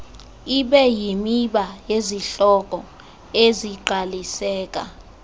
ibeyimiba yezihloko ezingqaliseka